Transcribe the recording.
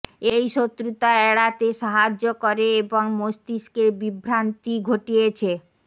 এই শত্রুতা এড়াতে সাহায্য করে এবং মস্তিষ্কের বিভ্রান্তি ঘটিয়েছে